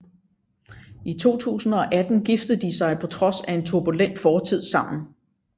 I 2018 giftede de sig på trods af en turbulent fortid sammen